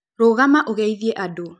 Rũgama ũgeithĩe andũ